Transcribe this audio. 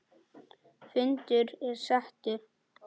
Fundur er settur!